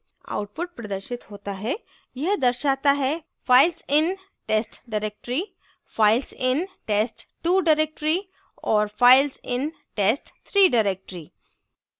output प्रदर्शित होता है यह दर्शाता है files in test directory files in test2 directory और files in test3 directory